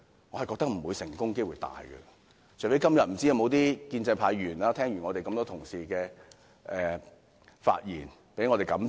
我覺得成功機會不大，除非今天有些建制派議員聽完這麼多位同事的發言後，受到感召。